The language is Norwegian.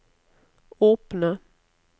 åpne